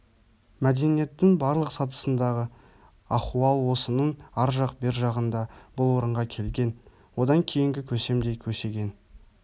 мәдениеттің барлық сатысындағы ахуал осының ар жақ бер жағында бұл орынға келген одан кейінгі көсем де көсеген